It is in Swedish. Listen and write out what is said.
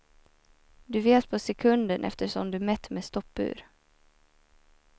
Du vet på sekunden eftersom du mätt med stoppur.